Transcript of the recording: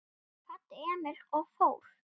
Hún kvaddi Emil og fór.